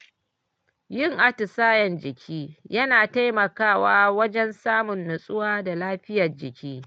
Yin atisayen jiki yana taimakawa wajen samun nutsuwa da lafiyar jiki.